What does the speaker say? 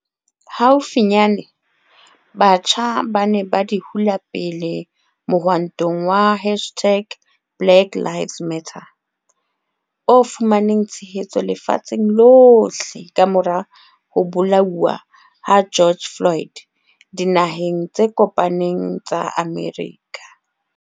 Haufinyane, batjha ba ne ba di hula pele mohwantong wa hashtag-BlackLivesMatter o fumaneng tshehetso lefatsheng lohle kamora ho bolauwa ha George Floyd Dinaheng tse Kopaneng tsa Amerika.